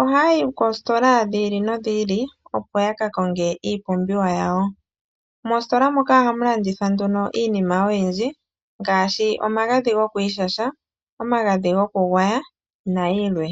ohayayi koositola dhi ili nodhi ili opo ya ka konga iipumbiwa yawo. Moositola moka ohamu landithwa nduno iinima oyindji ngaashi: omagadhi gokwiishasha, omagadhi gokugwaya nayilwe.